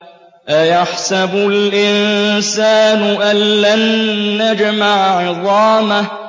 أَيَحْسَبُ الْإِنسَانُ أَلَّن نَّجْمَعَ عِظَامَهُ